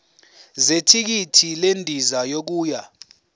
zethikithi lendiza yokuya